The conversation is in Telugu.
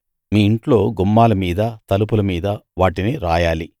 మీ ఇంట్లో గుమ్మాల మీదా తలుపుల మీదా వాటిని రాయాలి